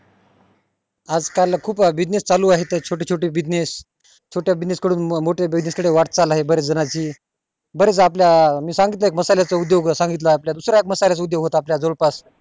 आज काल खूप business चालू आहेत च छोटे छोटे business छोट्या business कडून मोठ्या business कडे आहे वाटचाल आहे बऱ्याच जणांनाची बरेच आपल्या मी सांगितलं मसाले उदोग सांगितले दुसरे एकमसाले चा उदोग होता आपल्या जवळ पास